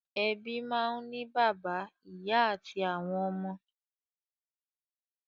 Ebi máa n ni bàbá, ìyá ati àwọn ọmọ.